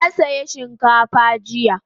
Na saya shinkafa jiya